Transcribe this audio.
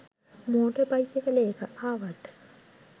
motor බයිසිකලයක ආවත්